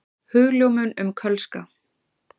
Hugljómun um kölska.